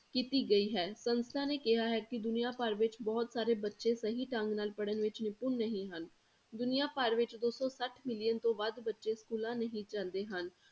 ਕੀਤੀ ਗਈ ਹੈ, ਸੰਸਥਾ ਨੇ ਕਿਹਾ ਹੈ ਕਿ ਦੁਨੀਆਂ ਭਰ ਵਿੱਚ ਬਹੁਤ ਸਾਰੇ ਬੱਚੇ ਸਹੀ ਢੰਗ ਨਾਲ ਪੜ੍ਹਣ ਵਿੱਚ ਨਿਪੁੰਨ ਨਹੀਂ ਹਨ, ਦੁਨੀਆਂ ਭਰ ਵਿੱਚ ਦੋ ਸੌ ਸੱਠ million ਤੋਂ ਵੱਧ ਬੱਚੇ schools ਨਹੀਂ ਜਾਂਦੇ ਹਨ।